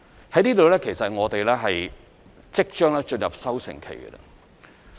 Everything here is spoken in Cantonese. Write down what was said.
這方面其實我們即將進入收成期。